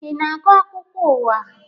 Ị na-agụ akụkọ ụwa?